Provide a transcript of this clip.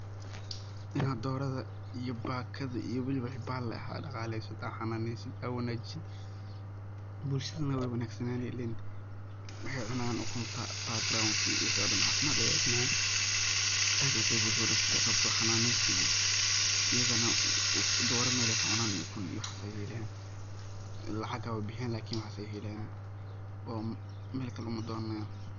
Dorada iyo bakada iyo waliba wixi bal leh aa daqaleso, aa xananesid, aa wanajisid bulshadana wey wanagsanani ilen wahey cunan ukunta bagranki wixi dhan cafimad aya imani aad iyo aad ayey bulshada u wanagsan tahay sababto ah xananeys iyo iyagana doro iyo ukun iyo mel ay kacunan waxas ayey helayan lacag hawabo bixiyan lakin waxas ayey helayan oo mel kale uma donanayan.